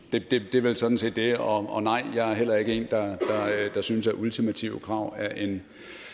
er vel sådan set det og og nej jeg er heller ikke en der synes at ultimative krav er en